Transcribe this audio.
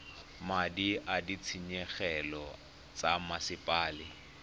madi a ditshenyegelo tsa mosepele